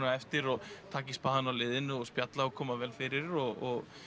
á eftir og taka í spaðann á liðinu og spjalla og koma vel fyrir og